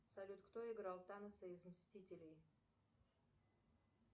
салют кто играл таноса из мстителей